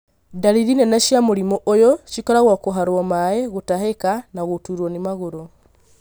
Ndariri nene cia mũrimũ ũyũ cikoragwo kũharo maĩ, gũtahika na gũturo nĩ magũrũ.